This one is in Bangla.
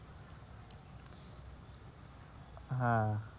হ্যাঁ,